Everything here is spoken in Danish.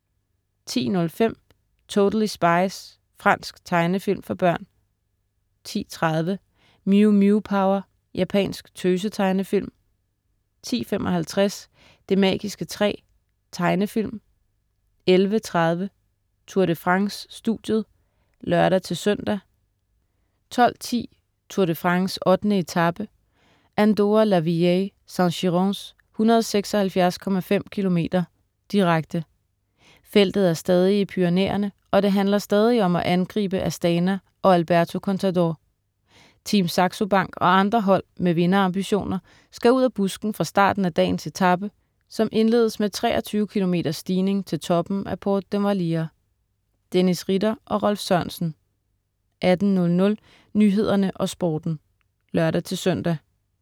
10.05 Totally Spies. Fransk tegnefilm for børn 10.30 Mew Mew Power. Japansk tøse-tegnefilm 10.55 Det magiske træ. Tegnefilm 11.30 Tour de France: Studiet (lør-søn) 12.10 Tour de France: 8. etape, Andorra-la-Vieille - Saint-Girons, 176,5 km, direkte. Feltet er stadig i Pyrenæerne, og det handler stadig om at angribe Astana og Alberto Contador. Team Saxo Bank og andre hold med vinderambitioner skal ud af busken fra starten af dagens etape, som indledes med 23 kilometers stigning til toppen af Port d'Envalira. Dennis Ritter og Rolf Sørensen 18.00 Nyhederne og Sporten (lør-søn)